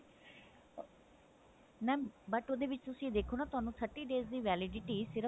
mam but ਉਹਦੇ ਵਿੱਚ ਤੁਸੀਂ ਦੇਖੋ ਨਾ ਤੁਹਾਨੂੰ thirty days ਦੀ validity ਸਿਰਫ